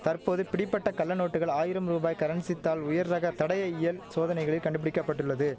தற்போது பிடிபட்ட கள்ளநோட்டுகள் ஆயிரம் ரூபாய் கரன்சி தாள் உயர் ரக தடய இயல் சோதனைகளில் கண்டுபிடிக்க பட்டுள்ளது